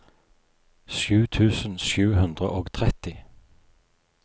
sju tusen sju hundre og tretti